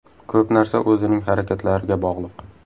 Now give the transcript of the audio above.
Ko‘p narsa o‘zining harakatlariga bog‘liq.